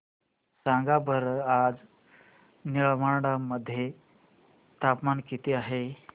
सांगा बरं आज निमडाळे मध्ये तापमान किती आहे